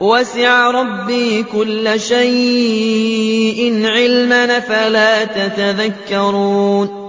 وَسِعَ رَبِّي كُلَّ شَيْءٍ عِلْمًا ۗ أَفَلَا تَتَذَكَّرُونَ